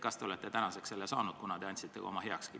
Kas te tänaseks olete saanud endale sobiva peaprokuröri?